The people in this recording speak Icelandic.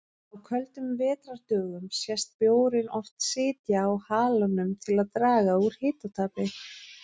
Á köldum vetrardögum sést bjórinn oft sitja á halanum til að draga úr hitatapi.